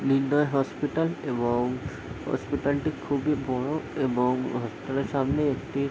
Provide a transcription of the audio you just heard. নির্ণয় হসপিটাল এবং হসপিটাল টি খুবই বড়ো এবং হসপিটাল এর সামনে একটি --